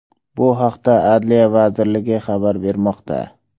Bu haqda Adliya vazirligi xabar bermoqda.